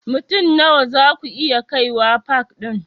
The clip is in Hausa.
Mutum Nawa zaku iya kaiwa pak ɗin?